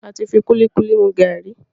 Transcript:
àti fí kulikuli mú garri.